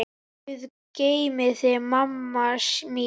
Guð geymi þig, mamma mín.